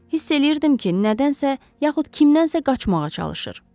Hiss eləyirdim ki, nədənsə, yaxud kimdənsə qaçmağa çalışır.